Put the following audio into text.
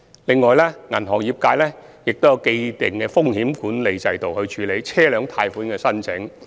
此外，銀行業界也有既定的風險管理制度，處理車輛貸款的申請。